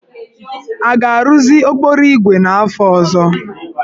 A ga-arụzi okporoígwè n'afọ ọzọ?